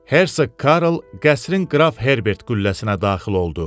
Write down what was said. Hersoq Karl qəsrin qraf Herbert qülləsinə daxil oldu.